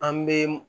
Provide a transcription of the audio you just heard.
An be